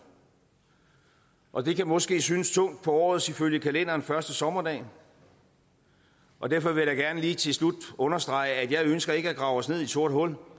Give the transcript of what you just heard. og det kan måske synes tungt her på årets ifølge kalenderen første sommerdag og derfor vil jeg da gerne lige til slut understrege at jeg ikke ønsker at grave os ned i et sort hul